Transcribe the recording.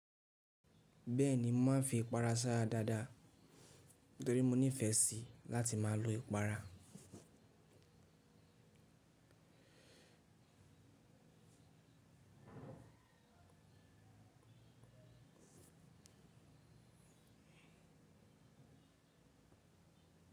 Bẹ́ẹ̀ni, mo màá fi ìpara sára dáadáa torí mo nífẹ̀ẹ́ sí láti máa lo ìpara.